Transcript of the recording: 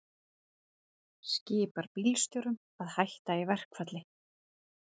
Skipar bílstjórum að hætta í verkfalli